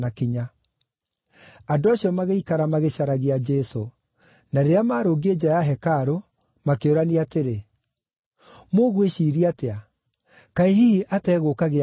Andũ acio magĩikara magĩcaragia Jesũ, na rĩrĩa maarũngiĩ nja ya hekarũ, makĩũrania atĩrĩ, “Mũgwĩciiria atĩa? Kaĩ hihi ategũũka Gĩathĩ-inĩ?”